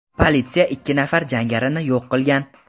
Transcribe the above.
Politsiya ikki nafar jangarini yo‘q qilgan.